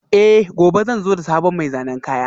Eh, gobe zan zo da sabon mai zanen kaya